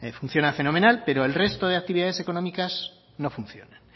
funciona fenomenal pero el resto de actividades económicas no funcionan